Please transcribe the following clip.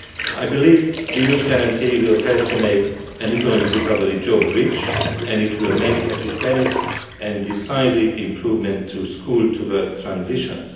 I believe the Youth Guarantee will help to make an economic recovery job rich, and it will make a systematic and decisive improvement to school to work transitions.